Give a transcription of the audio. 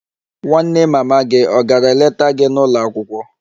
Nwanne mama gị ọ̀ gara leta gị n'ụlọ akwụkwọ?